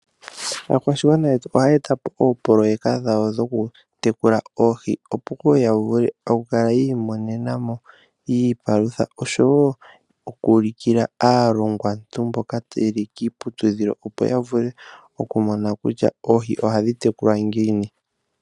Aakwashigwana yetu ohaye etapo oopoloyeka dhawo dhoku tekula oohi opo woo ya vule oku kala yi imonena mo iipalutha, oshowo oku ulukila aalongwantu mboka yeli kiiputudhilo opo ya vule oku mona kutya oohi ohadhi tekulwa ngiini.